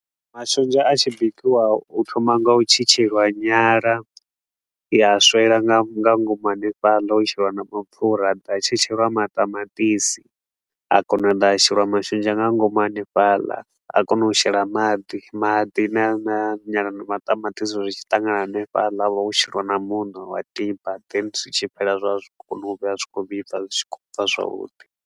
Mashonzha a tshi bikiwa, hu thomiwa nga u tshi tshetshelelwa nyala, ya swela nga nga ngomu hanefhaḽa, ho sheliwa na mapfura. Ha ḓa ha tshetsheliwa maṱamaṱisi, ha kona u da ha sheliwa mashonzha nga ngomu hanefhala. Ha konwa u shelwa maḓi, maḓi na na nyala na maṱamaṱisi, uri zwi tshi ṱangana hanefhaḽa ho sheliwa na muṋo wa tiba. Then zwi tshi fhela zwa vha zwi khou luga zwi tshi khou vhibva zwi tshi khou bva zwavhuḓi.